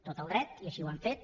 tot el dret i així ho han fet